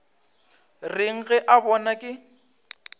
reng ge a bona ke